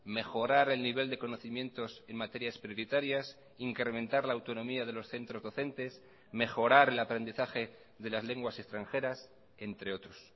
mejorar el nivel de conocimientos en materias prioritarias incrementar la autonomía de los centros docentes mejorar el aprendizaje de las lenguas extranjeras entre otros